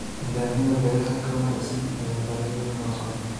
Nidaamyada beeraha ka wanaagsan ayaa baahi weyn loo qabaa.